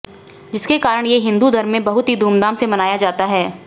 जिसके कारण ये हिंदू धर्म में बहुत ही धूमधाम से मानया जाता है